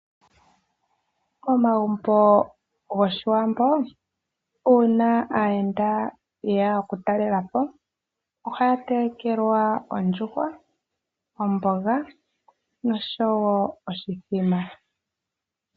Komagumbo gOshiwambo uuna aayenda yeya okutalelapo , ohaya telekelwa ondjuhwa, omboga noshowoo oshithima.